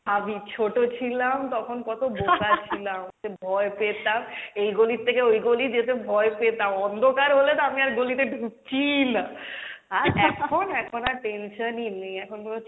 ভাবি ছোট ছিলাম তখন কত বোকা ছিলাম ভয় পেতাম এই গোলির থেকে ওই গোলি যেতে ভয় পেতাম, অন্ধকার হলে তো আমি আর গোলিতে ঢুকছিই না, আর এখন, এখন আর tension ই নেই, এখন কোনো